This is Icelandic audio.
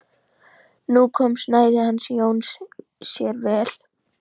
Nú kom snærið hans Jóns sér vel.